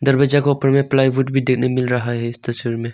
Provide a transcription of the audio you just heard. दरवाजा को ऊपर में प्लाईवुड भी देने मिल रहा है इस तस्वीर में।